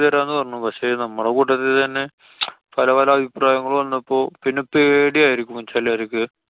ചെയ്തരാന്നു പറഞ്ഞു. പക്ഷെ നമ്മളെ കൂട്ടത്തില്‍ തന്നെ പലപല അഭിപ്രായങ്ങളും വന്നപ്പോ പിന്നെ പേടിയായിരിക്കും ചെലോര്‍ക്ക്.